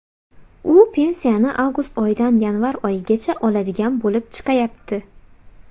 U pensiyani avgust oyidan yanvar oyigacha oladigan bo‘lib chiqayapti.